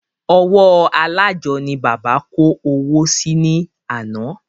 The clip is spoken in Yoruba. Ọwọ́ alájọ ni bàbá kó owó sí ní àná